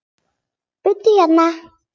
Bíddu hérna.